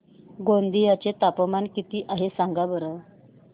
गोंदिया चे तापमान किती आहे सांगा बरं